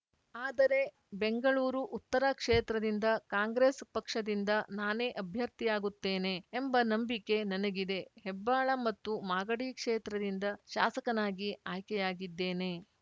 ಆದರೆ ಬೆಂಗಳೂರು ಉತ್ತರ ಕ್ಷೇತ್ರದಿಂದ ಕಾಂಗ್ರೆಸ್‌ ಪಕ್ಷದಿಂದ ನಾನೇ ಅಭ್ಯರ್ಥಿಯಾಗುತ್ತೇನೆ ಎಂಬ ನಂಬಿಕೆ ನನಗಿದೆ ಹೆಬ್ಬಾಳ ಮತ್ತು ಮಾಗಡಿ ಕ್ಷೇತ್ರದಿಂದ ಶಾಸಕನಾಗಿ ಆಯ್ಕೆಯಾಗಿದ್ದೇನೆ